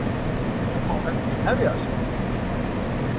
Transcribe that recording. Nú má helgin hefjast!